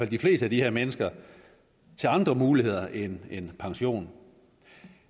de fleste af de her mennesker til andre muligheder end pension